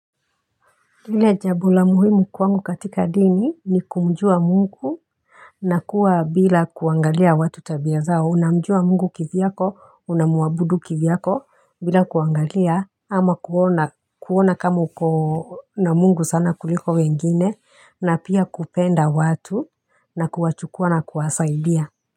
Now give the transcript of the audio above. Ile jambo la muhimu kwangu katika dini ni kumjua Mungu. Na kuwa bila kuangalia watu tabia zao, unamjua Mungu kivyako, unamwabudu kivyako bila kuangalia ama kuona, kuona kama uko na Mungu sana kuliko wengine na pia kupenda watu na kuwachukua na kuwasaidia.